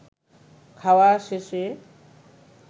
খাওয়া শেষে